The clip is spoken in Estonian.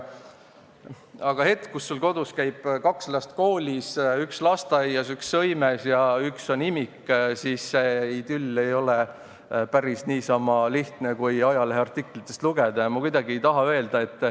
Aga hetkel, kus sul kodus käib kaks last koolis, üks lasteaias, üks sõimes ja üks on imik, ei ole see idüll päris niisama lihtne, kui ajalehe artiklitest võib lugeda.